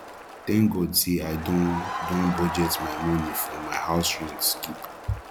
thank god say i don don budget the money for my house rent keep